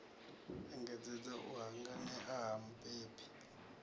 engedzedza u hanganea ha mubebi